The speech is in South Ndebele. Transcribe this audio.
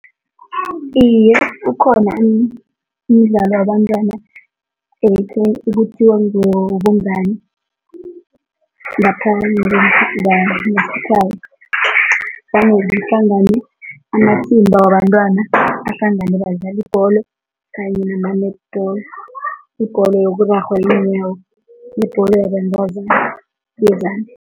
Iye, ukhona umdlalo wabantwana ekuthiwa ngewobungani ngapha vane kuhlangane amathimba wabantwana, ahlangane badlale ibholo kanye nama-netball, ibholo yokurarhwa ngeenyawo nebholo yabentazana yezandla.